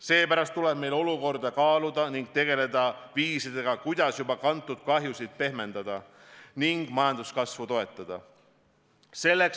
Seepärast tuleb meil olukorda kaaluda ning tegeleda viisidega, kuidas juba kantud kahjusid pehmendada ning majanduskasvu toetada.